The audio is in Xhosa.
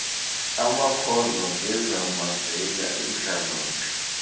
amakhondo ngezamayeza intlalontle